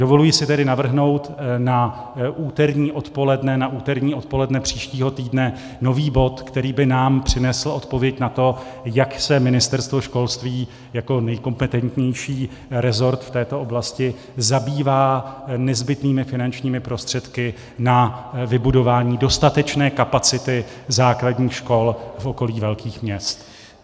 Dovoluji si tedy navrhnout na úterní odpoledne příštího týdne nový bod, který by nám přinesl odpověď na to, jak se Ministerstvo školství jako nejkompetentnější resort v této oblasti zabývá nezbytnými finančními prostředky na vybudování dostatečné kapacity základních škol v okolí velkých měst.